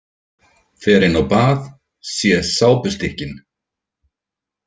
Fer inn á bað, sé sápustykkin.